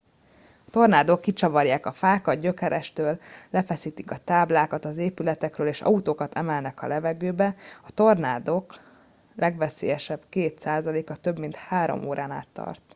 a tornádók kicsavarják a fákat gyökerestől lefeszítik a táblákat az épületekről és autókat emelnek a levegőbe a tornádok legveszélyesebb két százaléka több mint három órán át tart